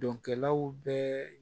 Dɔnkɛlaw bɛɛ